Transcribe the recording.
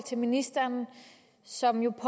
til ministeren som jo